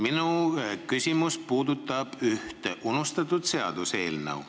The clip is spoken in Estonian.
Minu küsimus puudutab ühte unustatud seaduseelnõu.